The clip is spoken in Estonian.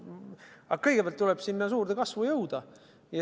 Aga kõigepealt tuleb sinna suurde kasvu jõuda.